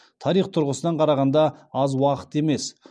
тарих тұрғысынан қарағанда аз уақыт емес